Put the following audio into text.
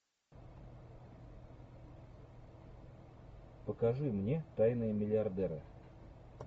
покажи мне тайные миллиардеры